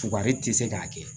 Fukari tɛ se k'a kɛ